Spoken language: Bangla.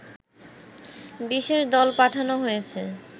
বিশেষ দল পাঠানো হয়েছে